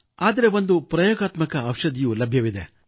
ಆದರೆ ಒಂದು ಹೊಸ ಪ್ರಯೋಗಾತ್ಮಕ ಔಷಧಿಯೂ ಲಭ್ಯವಿದೆ